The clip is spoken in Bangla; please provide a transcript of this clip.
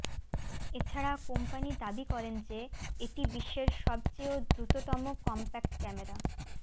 এছাড়া কোম্পানি দাবি করেন যে এটি বিশ্বের সবচেয় দ্রুততম কম্প্যাক্ট ক্যামেরা